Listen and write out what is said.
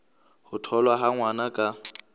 ho tholwa ha ngwana ka